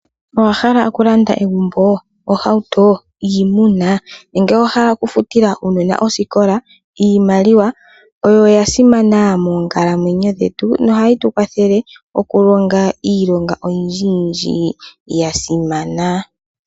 Owa hala oku landa egumbo, ohauto, iimuna, nenge owa hala oku futila uunona osikola? Iimaliwa oyo ya simana moonkalamwenyo dhetu, noha yi tu kwathele oku longa iilonga oyindji yindji ya simana.